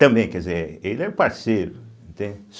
Também, quer dizer, ele é o parceiro, entende.